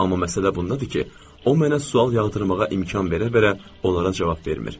Amma məsələ bundadır ki, o mənə sual yağdırmağa imkan verə-verə onlara cavab vermir.